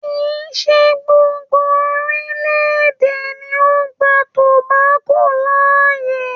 Kìí ṣe gbogbo orílé-èdè ni ó gba tòbákò láàyè